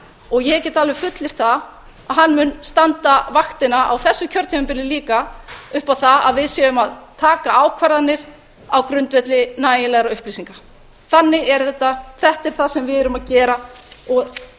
og ég get alveg fullyrt það að hann mun standa vaktina á þessu kjörtímabili líka upp á það að við séum að taka ákvarðanir á grundvelli nægilegra upplýsinga þannig er þetta þetta er það sem við erum að gera og